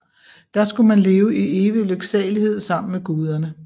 Der skulle man leve i evig lyksalighed sammen med guderne